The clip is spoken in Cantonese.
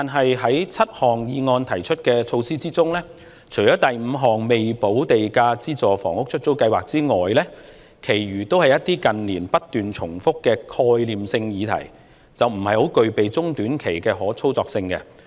然而，在議案提出的7項措施之中，除了第五點有關"未補價資助出售房屋——出租計劃"的措施外，其餘都是一些近年不斷重複的概念性議題，並不具備中短期的可操作性。